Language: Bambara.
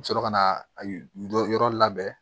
U bɛ sɔrɔ ka na a dɔ yɔrɔ labɛn